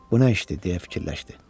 Bu nə işdir deyə fikirləşdi.